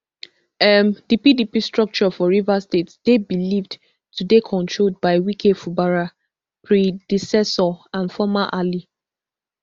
um di pdp structure for rivers state dey believed to dey controlled by wike fubara predecessor and former ally